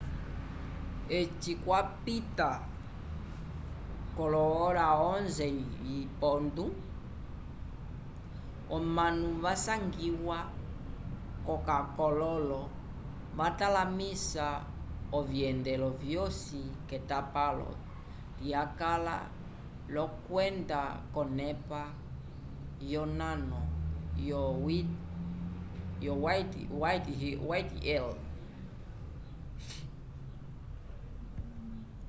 eci kwapita 11:00 omanu vasangiwa k'akololo vatalamisa ovyendelo vyosi k'etapalo lyakala l'okwenda k'onepa yonano yo whitehall